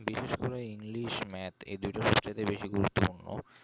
বিশেষ করে english math এই দুটোর ক্ষেত্রে বেশি গুরুত্বপর্ণ